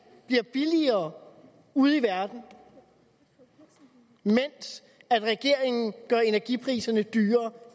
bliver billigere ude i verden mens regeringen gør energipriserne dyrere